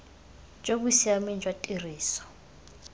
jo bo siameng jwa tiriso